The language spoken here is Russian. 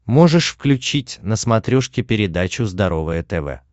можешь включить на смотрешке передачу здоровое тв